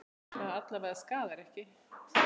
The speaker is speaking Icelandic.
Það alla vega skaðar ekki.